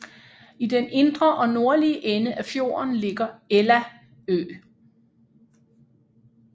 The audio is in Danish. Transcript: I den indre og nordlige ende af fjorden ligger Ella Ø